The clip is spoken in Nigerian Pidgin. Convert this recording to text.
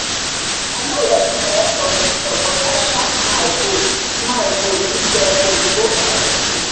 i nor readi um for visitor but i sha smile go smile go give them oyibo um tea